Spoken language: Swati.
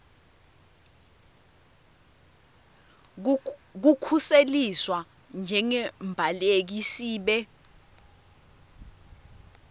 kukhuseliswa njengembaleki sibe